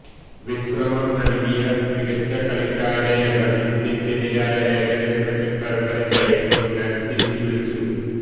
വിശ്രമം നല്കിയ മികച്ച കളിക്കാരെയെല്ലാം ഇന്ത്യക്കെതിരായ ഏകദിന ക്രിക്കറ്റ് പരമ്പരക്കായി ന്യൂസിലാന്റ് തിരിച്ചുവിളിച്ചു